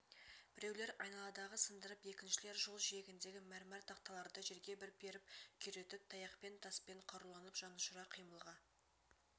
біреулер айналадағы сындырып екіншілер жол жиегіндегі мәрмәр тақталарды жерге бір періп күйретіп таяқпен таспен қаруланып жанұшыра қимылға